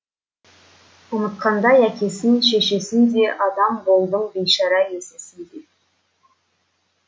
ұмытқандай әкесін шешесін де адам болдым бейшара есесінде